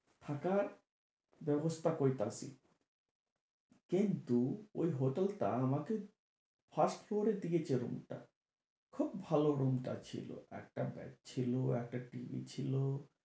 হঠাৎ ব্যবস্থা কইতাছি। কিন্তু ওই hotel টা আমাকে first floor এর দিকে যে room টা, খুব ভালো room টা ছিলো। একটা bed ছিলো, একটা TV ছিলো।